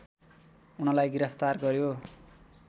उनलाई गिरफ्तार गर्‍यो